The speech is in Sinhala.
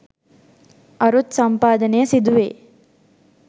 අරුත් සම්පාදනය සිදුවේ.